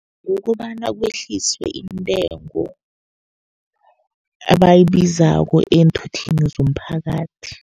Kukobana kwehliswe intengo abayibizako eenthuthini zomphakathi.